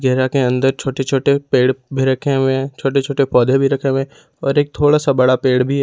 घेरा के अंदर छोटे-छोटे पेड़ भी रखे हुए छोटे-छोटे पौधे भी रखे हुए और एक थोड़ा सा बड़ा पेड़ भी है।